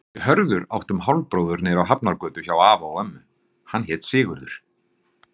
Við Hörður áttum hálfbróður niðri á Hafnargötu hjá afa og ömmu, hann hét Sigurður.